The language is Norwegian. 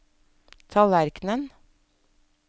tallerkenen